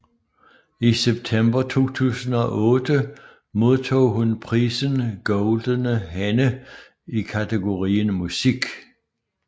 I september 2008 modtog hun prisen Goldene Henne i kategorien Musik